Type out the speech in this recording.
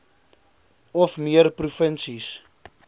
of meer provinsies